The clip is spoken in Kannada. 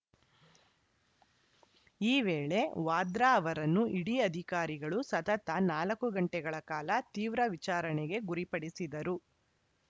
ಈ ವೇಳೆ ವಾದ್ರಾ ಅವರನ್ನು ಇಡಿ ಅಧಿಕಾರಿಗಳು ಸತತ ನಾಲ್ಕು ಗಂಟೆಗಳ ಕಾಲ ತೀವ್ರ ವಿಚಾರಣೆಗೆ ಗುರಿಪಡಿಸಿದರು